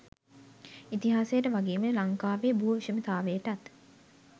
ඉතිහාසයට වගේම ලංකාවේ භූ විෂමතාවයටත්